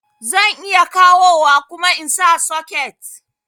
Zan iya kawowa kuma insa socket